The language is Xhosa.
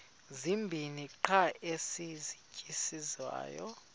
zibini qha ezisasetyenziswayo